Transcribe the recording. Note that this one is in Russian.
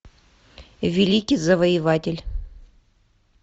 великий завоеватель